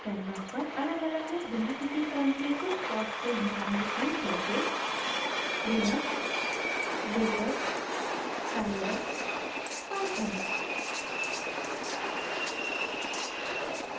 canvas पर अलगअलग और बिना किसी क्रम के कुछ foss के names लिखें जैसे linux latex scilab python